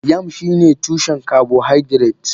Yam shine tushen carbohydrates.